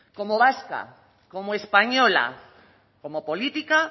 como vasca como española como política